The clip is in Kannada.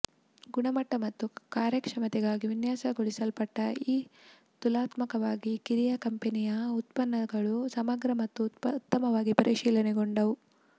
ಗುಣಮಟ್ಟ ಮತ್ತು ಕಾರ್ಯಕ್ಷಮತೆಗಾಗಿ ವಿನ್ಯಾಸಗೊಳಿಸಲ್ಪಟ್ಟ ಈ ತುಲನಾತ್ಮಕವಾಗಿ ಕಿರಿಯ ಕಂಪೆನಿಯ ಉತ್ಪನ್ನಗಳು ಸಮಗ್ರ ಮತ್ತು ಉತ್ತಮವಾಗಿ ಪರಿಶೀಲನೆಗೊಂಡವು